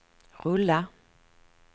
rulla